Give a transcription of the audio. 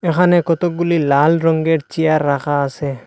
এখানে কতগুলি লাল রংয়ের চেয়ার রাখা আছে।